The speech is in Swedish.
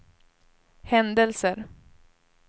händelser